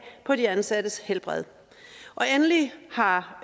på de ansattes helbred og endelig har